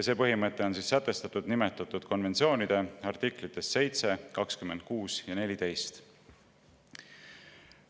See põhimõte on sätestatud nimetatud konventsioonide artiklites 7, 26 ja 14.